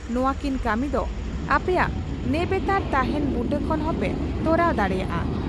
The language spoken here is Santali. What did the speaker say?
ᱱᱚᱣᱟ ᱠᱤᱱ ᱠᱟᱹᱢᱤ ᱫᱚ ᱟᱯᱮᱭᱟᱜ ᱱᱮᱵᱮᱛᱟᱨ ᱛᱟᱸᱦᱮᱱ ᱵᱩᱴᱟᱹ ᱠᱷᱚᱱ ᱦᱚᱸᱯᱮ ᱛᱚᱨᱟᱣ ᱫᱟᱲᱮᱭᱟᱜᱼᱟ ᱾